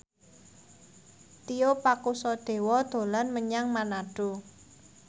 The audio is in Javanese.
Tio Pakusadewo dolan menyang Manado